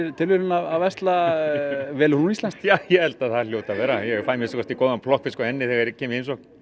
tilviljun að versla velur hún íslenskt já ég held að það hljóti að vera ég fæ að minnsta kosti góðan plokkfisk hjá henni þegar ég kem í